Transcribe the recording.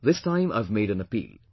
This time I have made an appeal